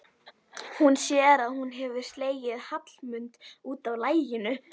Hún sér að hún hefur slegið Hallmund út af laginu.